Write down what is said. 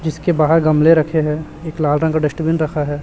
जिसके बाहर गमले रखे है एक लाल रंग का डस्टबिन रखा है।